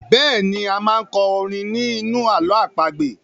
Bẹ́ẹ̀ni,a máa n kọ orin ní inú ààlọ́ àpagbè